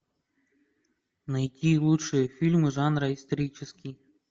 найти лучшие фильмы жанра исторический